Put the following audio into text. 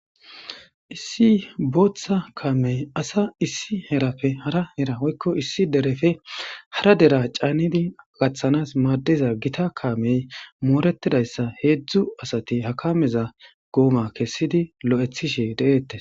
Issi booththa kaamey asa issi herappe hara hera woykko issi derefe hara dera caannidi gaththanas maadiza gita kaamey mooretidayssa heedzdzu asati hakameza gooma kessidi lo'ethishe de'eettes